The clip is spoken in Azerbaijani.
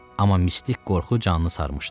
Amma mistik qorxu canını sarmışdı.